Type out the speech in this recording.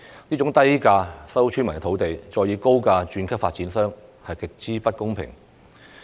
這種低價收購村民土地，再以高價把土地轉售予發展商的做法極不公平。